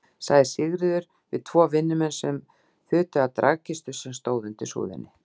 sagði Sigríður við tvo vinnumenn sem þutu að dragkistu sem stóð undir súðinni.